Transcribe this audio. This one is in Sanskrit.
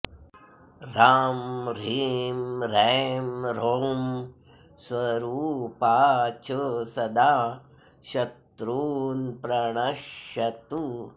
ह्राँ ह्रीं ह्रैं ह्रौं स्वरूपा च सदा शत्रून् प्रणश्यतु